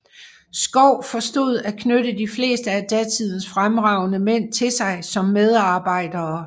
Schouw forstod at knytte de fleste af datidens fremragende mænd til sig som medarbejdere